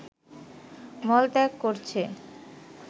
মলত্যাগ করছে